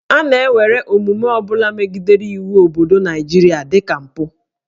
A na-ewere omume ọ bụla megidere iwu obodo Naịjirịa dị ka mpụ